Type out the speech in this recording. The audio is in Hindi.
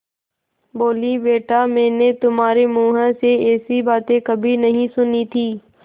बोलीबेटा मैंने तुम्हारे मुँह से ऐसी बातें कभी नहीं सुनी थीं